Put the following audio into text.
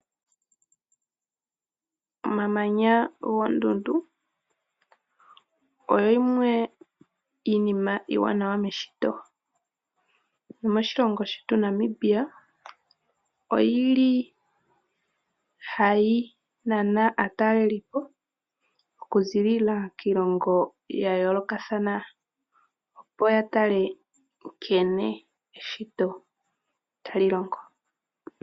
Omamanya goondundu oyo yimwe yomiinima iiwanawa meshito .Moshilongo shetu Namibia oyili hayi nana aatalelipo okuziilila kiilongo yayoolokathana, opo yatale nkene eshito tali longo.